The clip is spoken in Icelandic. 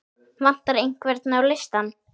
Vantar einhvern á listann?